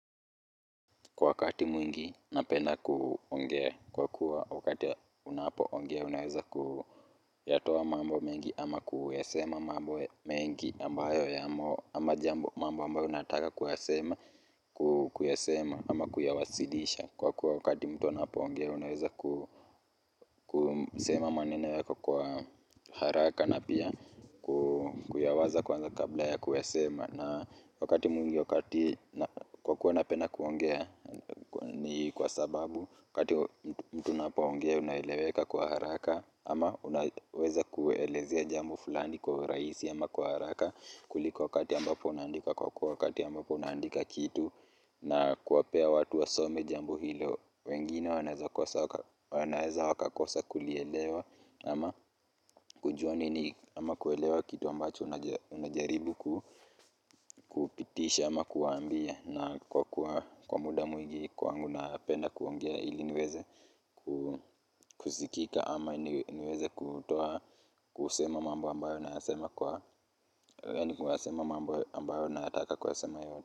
Kwa wakati mwingi napenda ongea, kwa kuwa wakati unapongea unaweza kuyatoa mambo mengi ama kuyasema mambo mengi ambayo jambo ambayo unataka kuyasema ama kuyawasilisha kwa wakati mtu napongea unaweza kusema maneno yako kwa haraka na pia kuyawaza kwanza kabla ya kuyasema na wakati mwingi wakati kwa kuwa napenda kuongea ni kwa sababu wakati mtu unapoongea unaeleweka kwa haraka ama unaweza kuelezea jambo fulani kwa urahisi ama kwa haraka kuliko wakati ambapo unaandika kwa wakati ambapo unaandika kitu na kuwapa watu wasome jambo hilo, wengine wanaweza wakakosa kulielewa ama kujua nini ama kuelewa kitu ambacho unajaribu kupitisha ama kuwaambia na kwa muda mwingi kwangu napenda kuongea ili niweze kusikika ama niweze kutoa, kusema mambo ambayo nataka kusema yote.